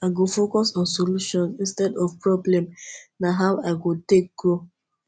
i go focus on solutions instead of problems na how i go take grow